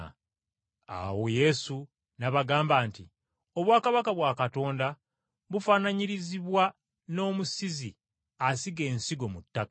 Awo Yesu n’abagamba nti, “Obwakabaka bwa Katonda bufaanaanyirizibwa n’omusizi asiga ensigo mu ttaka.